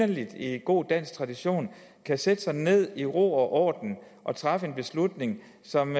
i god dansk tradition kan sætte sig ned i ro og orden og træffe en beslutning som